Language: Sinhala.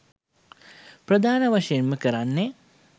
ප්‍රධාන වශයෙන්ම කරන්නෙ